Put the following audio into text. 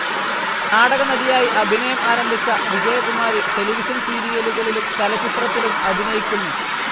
നാടകനടിയായി അഭിനയം ആരംഭിച്ച വിജയകുമാരി ടെലിവിഷൻ സീരിയലുകളിലും ചലച്ചിത്രത്തിലും അഭിനയിക്കുന്നു.